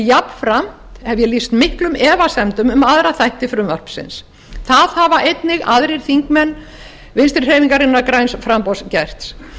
jafnframt hef ég lýst miklum efasemdum um aðra þætti frumvarpsins það hafa einnig aðrir þingmenn vinstri hreyfingarinnar græns framboðs gert